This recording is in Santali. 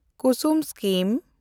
ᱠᱩᱥᱩᱢ ᱥᱠᱤᱢ